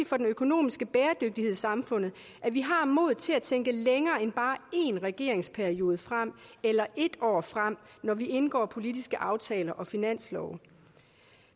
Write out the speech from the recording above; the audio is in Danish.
for den økonomiske bæredygtighed i samfundet at vi har modet til at tænke længere end bare én regeringsperiode frem eller ét år frem når vi indgår politiske aftaler og vedtager finanslove